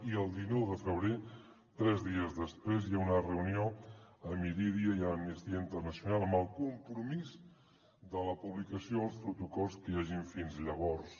i el dinou de febrer tres dies després hi ha una reunió amb irídia i amnistia internacional amb el compromís de la publicació dels protocols que hi hagin fins llavors